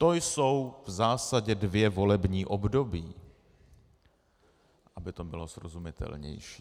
To jsou v zásadě dvě volební období, aby to bylo srozumitelnější.